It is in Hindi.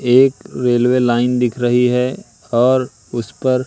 एक रेलवे लाइन दिख रही है और उस पर--